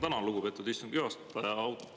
Tänan, lugupeetud istungi juhataja!